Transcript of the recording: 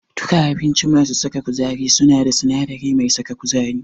Duka abinci masu saka kuzari suna da sinadari mai saka kuzari.